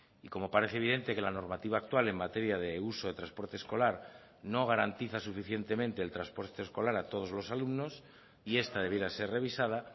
y como parece evidente que la normativa actual en materia de uso de transporte escolar no garantiza suficientemente el transporte escolar a todos los alumnos y esta debiera ser revisada